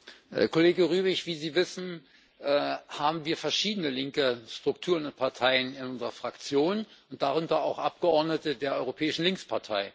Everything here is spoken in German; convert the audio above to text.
Herr Kollege Rübig! Wie Sie wissen, haben wir verschiedene linke Strukturen und Parteien in unserer Fraktion, darunter auch Abgeordnete der Europäischen Linkspartei.